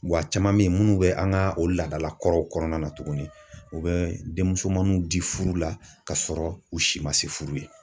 Wa caman bɛ yen minnu bɛ an ka o laadala kɔrɔw kɔnɔna na tuguni u be denmusomaninw di furu la kasɔrɔ u si ma se furu ye